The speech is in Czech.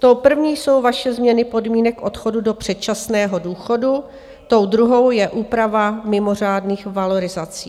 To první jsou vaše změny podmínek odchodu do předčasného důchodu, tou druhou je úprava mimořádných valorizací.